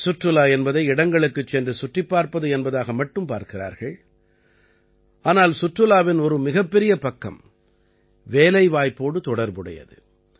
சுற்றுலா என்பதை இடங்களுக்குச் சென்று சுற்றிப் பார்ப்பது என்பதாக மட்டும் பார்க்கிறார்கள் ஆனால் சுற்றுலாவின் ஒரு மிகப்பெரிய பக்கம் வேலைவாய்ப்போடு தொடர்புடையது